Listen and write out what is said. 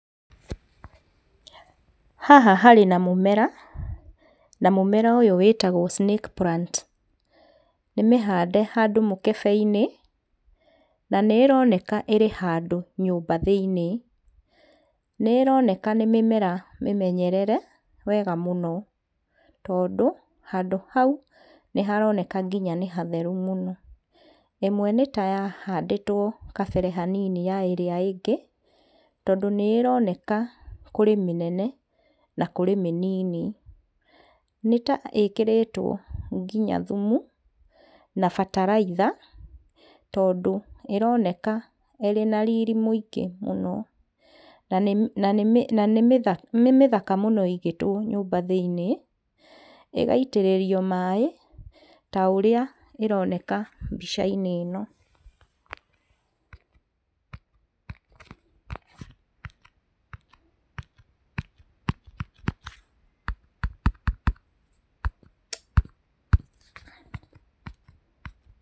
Haha harĩ na mũmera, na mũmera ũyũ wĩtagwo snake plant. Nĩmĩhande handũ mũkebe-inĩ, na nĩĩroneka ĩrĩ handũ nyũmba thĩiniĩ. Nĩĩroneka nĩ mĩmera mĩmenyerere wega mũno, tondũ handũ hau nĩharoneka nginya nĩ hatheru mũno. Imwe nĩ ta yahandĩtwo kabere hanini na ĩrĩa ĩngĩ, tondũ nĩ ĩroneka kũrĩ mĩnene na kũrĩ minini. Nĩ ta ĩkĩritwo nginya thumu na bataraitha, tondũ ĩroneka ĩrĩ na riri mũingĩ mũno, na nĩ mĩ na nĩ mĩ na nĩmĩtha nĩ mĩthaka mũno ĩigĩtwo nyũmba thĩiniĩ ĩgaitĩrĩrio maĩ ta ũrĩa ĩroneka mbica-inĩ ĩno.